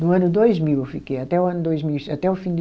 No ano dois mil eu fiquei, até o ano dois mil e, até o fim de